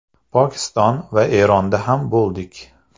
Pokiston va Eronda ham bo‘ldik.